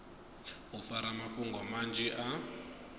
u fara mafhungo manzhi a